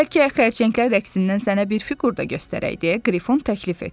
Bəlkə xərçənglər rəqsindən sənə bir fiqur da göstərək deyə Qrifon təklif etdi.